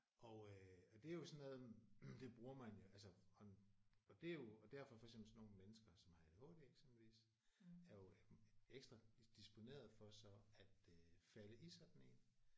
Og øh og det er jo sådan noget det bruger man jo altså og og det er jo og derfor for eksempel sådan nogle mennesker som har ADHD eksempelvis er jo ekstra disponerede for så at øh falde i sådan en